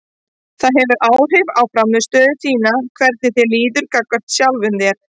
Það hefur áhrif á frammistöðu þína hvernig þér líður gagnvart sjálfum þér.